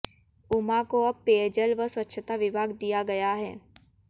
उमा को अब पेयजल व स्वच्छता विभाग दिया गया है